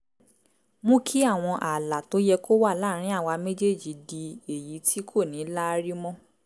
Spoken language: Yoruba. mú kí àwọn ààlà tó yẹ kó wà láàárín àwa méjèèjì di èyí tí kò ní láárí mọ́